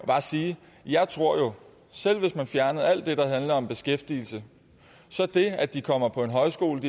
bare sige at jeg tror at selv hvis man fjernede alt det der handler om beskæftigelse så er det at de kommer på en højskole